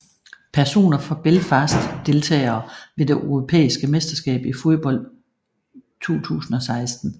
Personer fra Belfast Deltagere ved det europæiske mesterskab i fodbold 2016